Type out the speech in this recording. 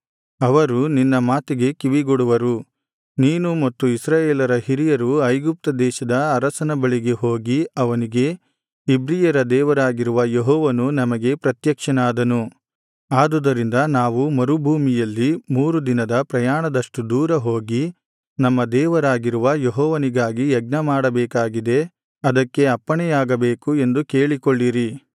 ಅವರು ನಿನ್ನ ಮಾತಿಗೆ ಕಿವಿಗೊಡುವರು ನೀನು ಮತ್ತು ಇಸ್ರಾಯೇಲರ ಹಿರಿಯರು ಐಗುಪ್ತದೇಶದ ಅರಸನ ಬಳಿಗೆ ಹೋಗಿ ಅವನಿಗೆ ಇಬ್ರಿಯರ ದೇವರಾಗಿರುವ ಯೆಹೋವನು ನಮಗೆ ಪ್ರತ್ಯಕ್ಷನಾದನು ಆದುದರಿಂದ ನಾವು ಮರುಭೂಮಿಯಲ್ಲಿ ಮೂರು ದಿನದ ಪ್ರಯಾಣದಷ್ಟು ದೂರ ಹೋಗಿ ನಮ್ಮ ದೇವರಾಗಿರುವ ಯೆಹೋವನಿಗಾಗಿ ಯಜ್ಞಮಾಡಬೇಕಾಗಿದೆ ಅದಕ್ಕೆ ಅಪ್ಪಣೆಯಾಗಬೇಕು ಎಂದು ಕೇಳಿಕೊಳ್ಳಿರಿ